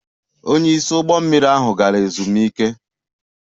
Onye isi ụgbọ mmiri ahụ gara ezumike